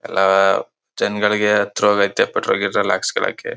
ಎಲ್ಲ ಜನಗಳಿಗೆ ಹತ್ರವಾಗಾಯ್ತೆ ಪೆಟ್ರೋಲ್ ಗೀಟ್ರೋಲ್ ಹಾಕ್ಸ್ಕೊಳೋಕೆ.